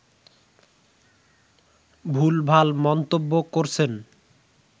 ভুলভাল মন্তব্য করছেন